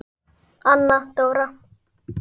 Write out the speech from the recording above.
Anna Dóra.